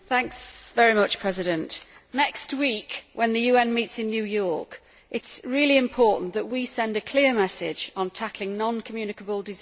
Mr President, next week, when the UN meets in New York, it is really important that we send a clear message on tackling non communicable diseases.